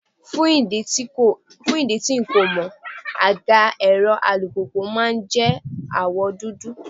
Fún ìdí tí n kò mọ̀, àga èrò alùpùpù máa jẹ́ àwọ̀ dúdú.